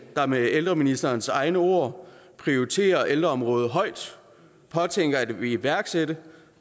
der med ældreministerens egne ord prioriterer ældreområdet højt påtænker at ville iværksætte